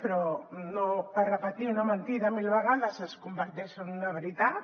però no per repetir una mentida mil vegades es converteix en una veritat